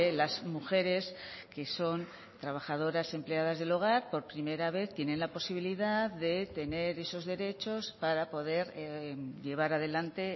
las mujeres que son trabajadoras empleadas del hogar por primera vez tienen la posibilidad de tener esos derechos para poder llevar adelante